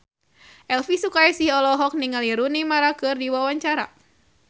Elvi Sukaesih olohok ningali Rooney Mara keur diwawancara